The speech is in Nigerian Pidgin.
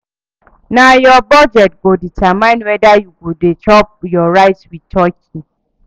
Na your budget go determine whether you go dey chop your rice with turkey.